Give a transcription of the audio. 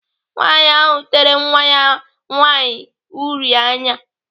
Nwaanyị ahụ tere nwa nwaanyị ya uri anya.